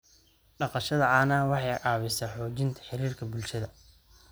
Dhaqashada caanaha waxay caawisaa xoojinta xiriirka bulshada.